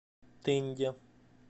тынде